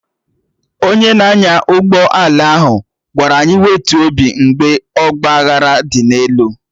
Onye na-anya ụgbọ ala ahụ gwara anyị wetuo obi mgbe ọgba aghara dị n'elu